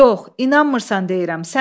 Yox, inanmırsan deyirəm.